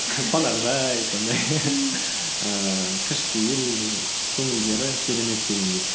қонақжай сондай ііі кішіпейіл і көңілдері керемет дегендей